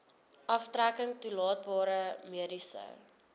aftrekking toelaatbare mediese